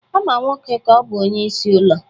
a ma nwoke ka ọ bu onye-isi ulo